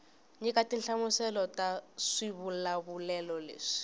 nyika tinhlamuselo ta swivulavulelo leswi